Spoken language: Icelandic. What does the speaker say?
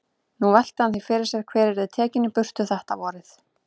Nú velti hann því fyrir sér hver yrði tekinn í burtu þetta vorið.